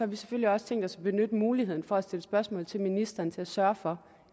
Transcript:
vi selvfølgelig også tænkt os at benytte muligheden for at stille spørgsmål til ministeren for at sørge for